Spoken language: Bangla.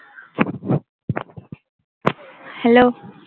hello